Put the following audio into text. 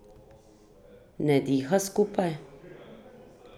Ne diha skupaj?